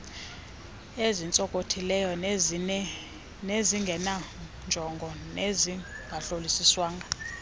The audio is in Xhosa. ezintsonkothileyo ezingenanjongo nezingahlolisiswanga